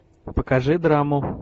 покажи драму